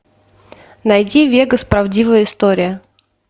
найди вегас правдивая история